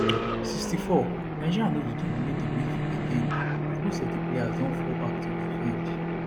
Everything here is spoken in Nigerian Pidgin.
64 nigeria no dey dominate di midfield again as most of di players don fall back to defend